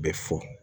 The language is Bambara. Bɛ fɔ